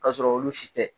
K'a sɔrɔ olu si tɛ